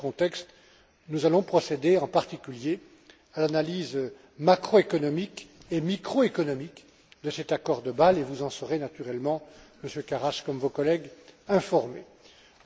Et, dans ce contexte, nous allons procéder, en particulier, à l'analyse macroéconomique et microéconomique de cet accord de Bâle et vous en serez naturellement informé, comme vos collègues, Monsieur Karas.